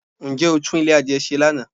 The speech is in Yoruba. Ǹjẹ́ o tún Ilé adìye se Lana?